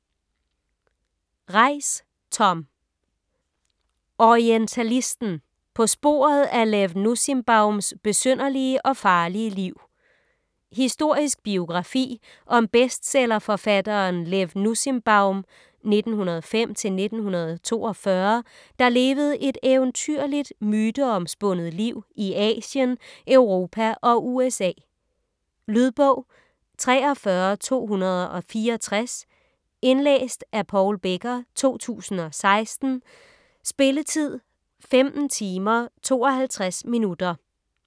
Reiss, Tom: Orientalisten: på sporet af Lev Nussimbaums besynderlige og farlige liv Historisk biografi om bestsellerforfatteren Lev Nussimbaum (1905-1942), der levede et eventyrligt, myteomspundet liv i Asien, Europa og USA. Lydbog 43264 Indlæst af Paul Becker, 2016. Spilletid: 15 timer, 52 minutter.